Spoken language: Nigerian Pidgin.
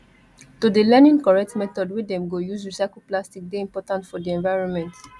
to dey learning correct method wey dem go use recycle plastic dey important for di environment